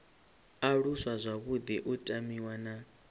aluswa zwavhuḓi u tamiwa na